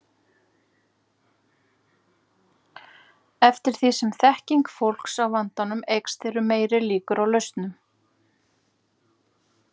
Eftir því sem þekking fólks á vandanum eykst eru meiri líkur á lausnum.